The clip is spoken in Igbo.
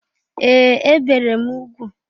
Ee! E bere m ugwu.